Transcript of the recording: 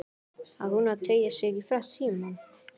Á hún að teygja sig í símann?